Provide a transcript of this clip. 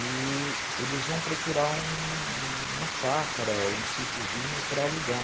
E eles vão procurar um uma chácara ou um sitiozinho para alugar.